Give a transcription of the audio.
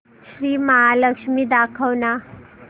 श्री महालक्ष्मी दाखव ना